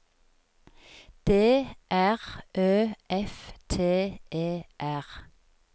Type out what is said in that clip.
D R Ø F T E R